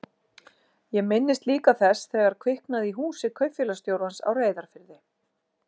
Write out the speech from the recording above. Ég minnist líka þess þegar kviknaði í húsi kaupfélagsstjórans á Reyðarfirði.